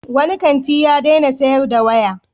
Wani kanti ya daina sayar da waya.